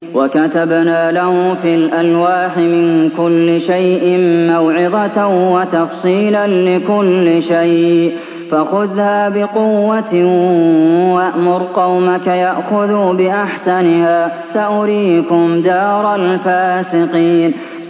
وَكَتَبْنَا لَهُ فِي الْأَلْوَاحِ مِن كُلِّ شَيْءٍ مَّوْعِظَةً وَتَفْصِيلًا لِّكُلِّ شَيْءٍ فَخُذْهَا بِقُوَّةٍ وَأْمُرْ قَوْمَكَ يَأْخُذُوا بِأَحْسَنِهَا ۚ سَأُرِيكُمْ دَارَ الْفَاسِقِينَ